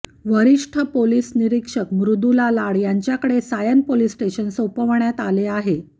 वरिष्ठ पोलिस निरीक्षक मृदुला लाड यांच्याकडे सायन पोलीस स्टेशन सोपवण्यात आले आहे